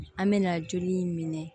An mɛna joli in minɛ